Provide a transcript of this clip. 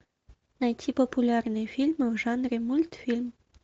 найти популярные фильмы в жанре мультфильм